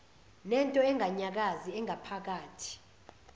nento enganyakazi engaphakathi